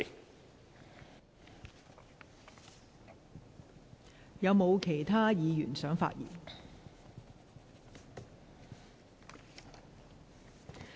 是否有其他議員想發言？